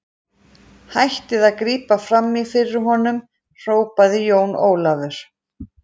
Hættið að grípa framí fyrir honum, hrópaði Jón Ólafur.